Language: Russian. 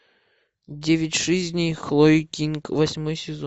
девять жизней хлои кинг восьмой сезон